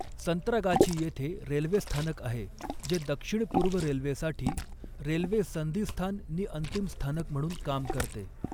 संत्रागाछी येथे रेल्वे स्थानक आहे जे दक्षिण पूर्व रेल्वेसाठी रेल्वे संधिस्थान नि अंतिम स्थानक म्हणून काम करते.